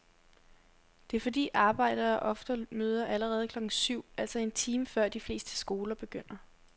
Det er fordi arbejdere ofte møder allerede klokken syv, altså en time før de fleste skoler begynder.